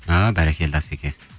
а бәрекелді асеке